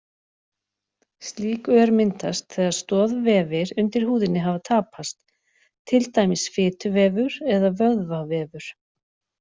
Slík ör myndast þegar stoðvefir undir húðinni hafa tapast, til dæmis fituvefur eða vöðvavefur.